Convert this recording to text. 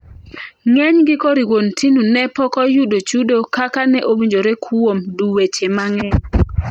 Ng'enygi koriwo Ntinu ne pokoyudo chudo kaka ne owinjore kuom duweche mang'eny.